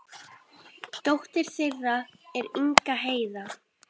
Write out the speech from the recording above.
Dóttir þeirra er Inga Heiða.